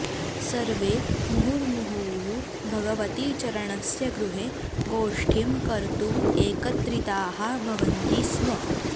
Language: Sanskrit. सर्वे मुहुर्मुहुः भगवतीचरणस्य गृहे गोष्ठीं कर्तुम् एकत्रिताः भवन्ति स्म